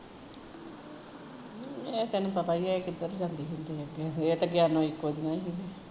ਅੱਛਾ ਏਹ ਤੈਨੂ ਪਤਾ ਈ ਐ ਕਿੱਦਰ ਜਾਂਦੀਆ ਹੁੰਦੀਆ ਏਹ ਤੇ ਗਿਆਨੋਂ ਇੱਕੋ ਜਹੀਆ ਹੀਂ ਸੀ